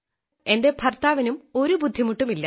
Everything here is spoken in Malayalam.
എന്റെ ഭർത്താവിനും ഒരു ബുദ്ധിമുട്ടുമില്ല